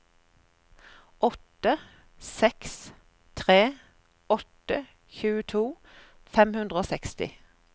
åtte seks tre åtte tjueto fem hundre og seksti